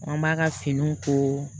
An b'a ka finiw ko